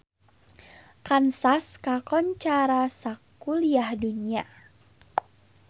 Kansas kakoncara sakuliah dunya